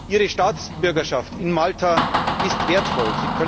Ihre Staatsbürgerschaft in Malta ist wertvoll!